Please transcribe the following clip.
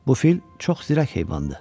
Bu fil çox zirək heyvandır.